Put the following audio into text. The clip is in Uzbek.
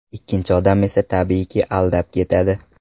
Ikkinchi odam esa tabiiyki, aldab ketadi.